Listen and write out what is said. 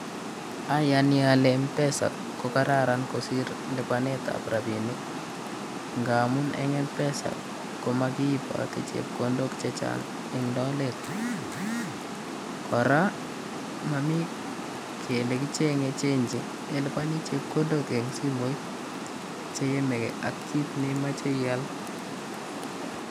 Ayani ale m-pesa ko kararan kosir lipanetab robinik. Ngamun eng m-pesa ko makiiboti chepkondok chechang' eng' lolet. Kora momii kele kicheng'ei chenji ilipani chepkondok eng simooit che yamegei ak kiit neimochei iyaal.